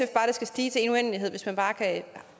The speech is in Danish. det skal stige i en uendelighed hvis man bare kan